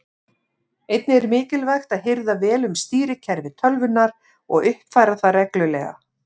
Einnig er mikilvægt að hirða vel um stýrikerfi tölvunnar og uppfæra það reglulega.